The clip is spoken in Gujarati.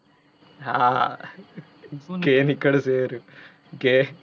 હા, gay નિકળશે એ રહ્યો gay